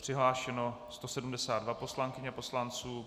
Přihlášeno 172 poslankyň a poslanců.